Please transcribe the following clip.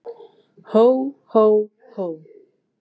Hó, hó, hó!